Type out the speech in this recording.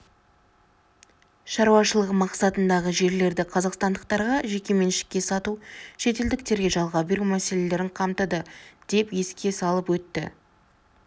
шаруашылығы мақсатындағы жерлерді қазақстандықтарға жекеменшікке сату шетелдіктерге жалға беру мәселелерін қамтыды деп еске салып өтті